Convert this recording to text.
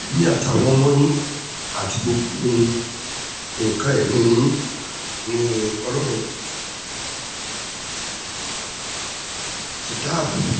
ẹ̀yin àtàwọn ọmọ yín àti gbogbo nǹkan-ìní yín àti ohun tó kàn yín ni ọlọ́run ti dáàbò bò